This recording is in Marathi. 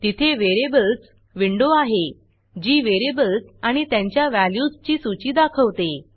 तिथे Variablesवेरियबल्स विंडो आहे जी व्हेरिएबल्स आणि त्यांच्या व्हॅल्यूजची सूची दाखवते